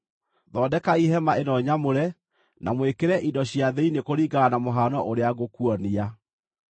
Thondekai hema ĩno nyamũre, na mwĩkĩre indo cia thĩinĩ kũringana na mũhano ũrĩa ngũkuonia.